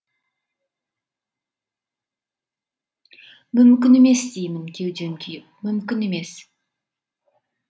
мүмкін емес деймін кеудем күйіп мүмкін емес